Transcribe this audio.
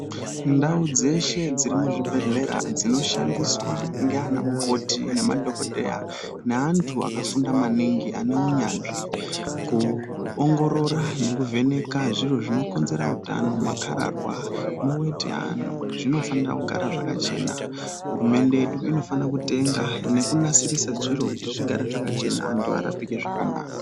Ndau dzeshe dziri muzvibhedhlera dzinoshandiswa ngeana mukoti ngemadhogodheya. Neantu akafunda maningi aneunyanzvi kuongorora nekuvheneka zviro zvinokonzera utano makararwa neveti yeantu zvinofanira kugara zvakachena. Hurumende yedu inofanira kutenga nekunasirise zviro kuti zvigare zvakachena antu arapike zvakanaka.